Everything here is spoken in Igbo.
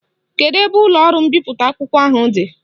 Kedu ebe ụlọọrụ mbipụta akwụkwọ ahụ dị?